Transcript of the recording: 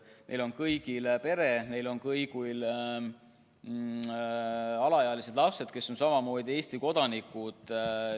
Neil kõigil on pere, neil kõigil on alaealised lapsed, kes on samamoodi Eesti kodanikud.